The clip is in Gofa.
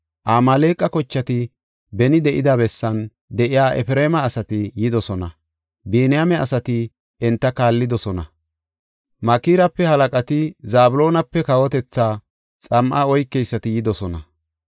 Amaaleqa kochati beni de7ida bessan de7iya Efreema asati yidosona. Biniyaame asati enta kaallidosona. Makirape halaqati, Zabloonape kawotetha xam7a oykeysati yidosona.